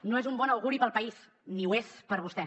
no és un bon auguri per al país ni ho és per a vostè